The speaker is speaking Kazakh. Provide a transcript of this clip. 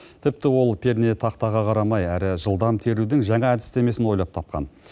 тіпті ол пернетақтаға қарамай әрі жылдам терудің жаңа әдістемесін ойлап тапқан